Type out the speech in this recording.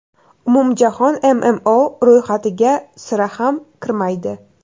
Umumjahon MMO ro‘yxatiga sira ham kirmaydi.